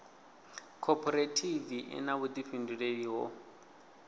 khophorethivi i na vhuḓifhinduleli ho